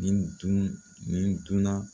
Ni n dun, ni n dunna